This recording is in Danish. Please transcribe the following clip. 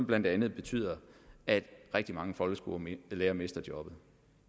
blandt andet betyder at rigtig mange folkeskolelærere mister jobbet